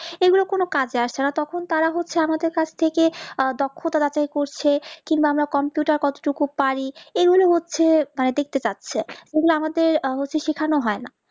এই গুলো কোনো কাজে আসে না তখন তারা হচ্ছে আমাদের কাছ থেকে আহ দক্ষতা যাচাই করছে কিংবা আমরা computer কত টুকু পারি এই নিয়ে হচ্ছে মানে দেখতে চাচ্ছে এগুলো আমাদের অবশ্য শেখানো হয় না